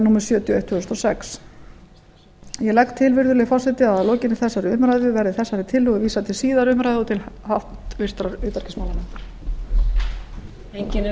númer sjötíu og eitt tvö þúsund og sex ég legg til virðulegi forseti að lokinni þessari umræðu verði þessari tillögu vísað til síðari umræðu og til háttvirtrar utanríkismálanefndar